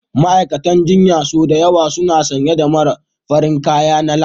Ma'aikatan jinya sau da yawa suna sanye da fararen kaya na lab